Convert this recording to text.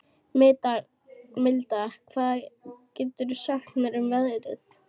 Milda, hvað geturðu sagt mér um veðrið?